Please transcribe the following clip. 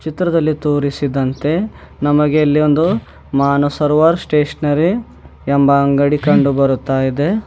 ಚಿತ್ರದಲ್ಲಿ ತೋರಿಸಿದಂತೆ ನಮಗೆ ಇಲ್ಲಿ ಒಂದು ಮನಸ್ ಸರೋವರ್ ಸ್ಟೇಷನರಿ ಎಂಬ ಅಂಗಡಿ ಕಂಡು ಬರ್ತಾ ಇದೆ.